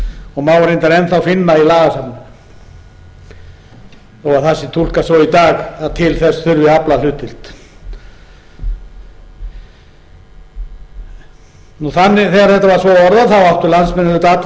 og má reyndar enn þá finna í lagasafninu þó að það sé túlkað svo í dag að til þess þurfi aflahlutdeild þegar þetta vr svo orðað áttu landsmenn auðvitað